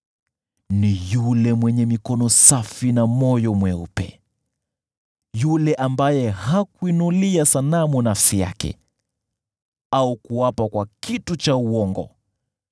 Ni yule mwenye mikono safi na moyo mweupe, yule ambaye hakuinulia sanamu nafsi yake au kuapa kwa kitu cha uongo.